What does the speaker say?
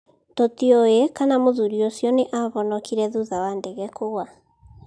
Tũtiũĩ kana mũthuri ũcio nĩ aahonokire thutha wa ndege kũgũa.